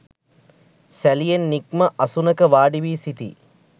සැලියෙන් නික්ම අසුනක වාඩි වී සිටී.